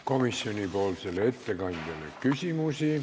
Komisjoni ettekandjale küsimusi ei ole.